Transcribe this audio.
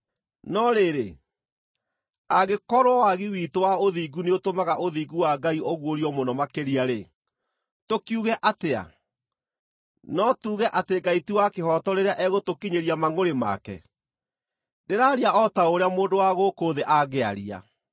No rĩrĩ, angĩkorwo wagi witũ wa ũthingu nĩũtũmaga ũthingu wa Ngai ũguũrio mũno makĩria-rĩ, tũkiuge atĩa? No tuuge atĩ Ngai ti wa kĩhooto rĩrĩa egũtũkinyĩria mangʼũrĩ make? (Ndĩraaria o ta ũrĩa mũndũ wa gũkũ thĩ angĩaria.)